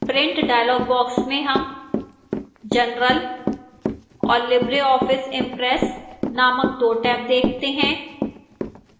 print dialog box में हम general और libreoffice impress नामक दो टैब देखते हैं